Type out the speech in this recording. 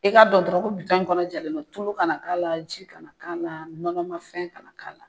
I ka dɔn dɔrɔn ko kɔnɔ jɛlen mɛ tulu kana k'a la , ji kana k'a la nɔnɔmafɛn kana k'a la